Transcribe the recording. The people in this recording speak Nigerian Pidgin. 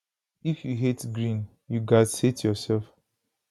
if you hate green you gatz hate yoursef